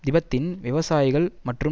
திபெத்தின் விவசாயிகள் மற்றும்